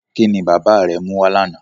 Kí ni bàbá rẹ mú wá lánàá?